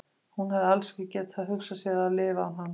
Hún hafi alls ekki getað hugsað sér að lifa án hans.